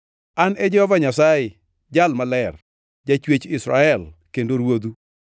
An e Jehova Nyasaye, Jal Maler, Jachwech Israel kendo Ruodhu.”